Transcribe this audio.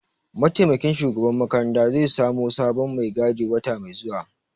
Mataimakin shugaban makaranta zai samo sabon mai gadi wata mai zuwa